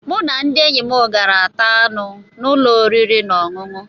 Mụ na ndị enyi m gara taa anụ n'ụlọ oriri na ọṅụṅụ